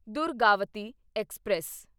Durgavati express